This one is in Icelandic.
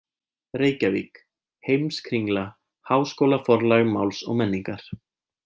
Reykjavík: Heimskringla- Háskólaforlag Máls og menningar.